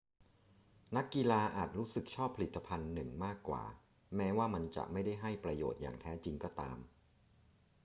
นักกีฬาอาจรู้สึกชอบผลิตภัณฑ์หนึ่งมากกว่า แม้ว่ามันจะไม่ได้ให้ประโยชน์อย่างแท้จริงก็ตาม